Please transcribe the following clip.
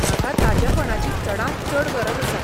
म्हाका ताजेपणाची चडांत चड गरज आसा.